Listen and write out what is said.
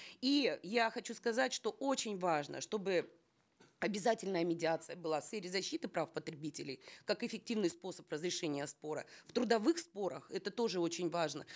и я хочу сказать что очень важно чтобы обязательная медиация была в сфере защиты прав потребителей как эффективный способ разрешения спора в трудовых спорах это тоже очень важно